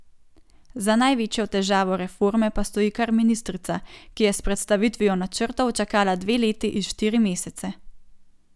Za največjo težavo reforme pa stoji kar ministrica, ki je s predstavitvijo načrtov čakala dve leti in štiri mesece.